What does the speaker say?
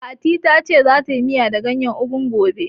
Fati ta ce za ta yi miya da gayen ugu gobe